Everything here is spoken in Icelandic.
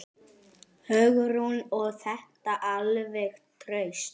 Hugrún: Og þetta alveg traust?